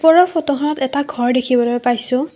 ওপৰৰ ফটোখনত এটা ঘৰ দেখিবলৈ পাইছোঁ।